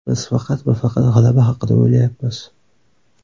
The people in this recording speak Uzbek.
Biz faqat va faqat g‘alaba haqida o‘ylayapmiz.